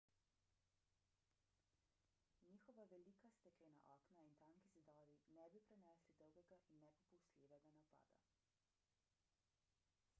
njegova velika steklena okna in tanki zidovi ne bi prenesli dolgega in nepopustljivega napada